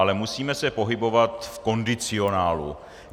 Ale musíme se pohybovat v kondicionálu.